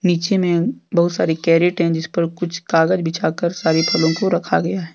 पीछे मे बहुत सारी कैरेट हैं जिस पर कुछ कागज बिछा कर सारे फलों को रखा गया है।